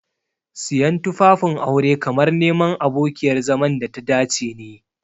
Siyan tufafin aure kamar neman abokiyar zaman data dace ne.